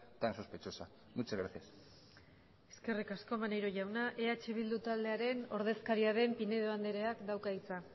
tan sospechosa muchas gracias eskerrik asko maneiro jauna eh bildu taldearen ordezkaria den pinedo andreak dauka hitza